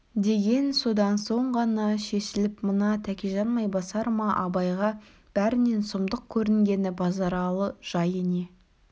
деген содан соң ғана шешіліп мына тәкежан майбасар ма абайға бәрінен сұмдық көрінгені базаралы жайы не